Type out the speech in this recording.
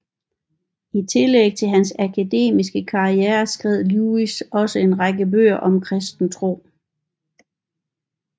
I tillæg til hans akademiske karriere skrev Lewis også en række bøger om kristen tro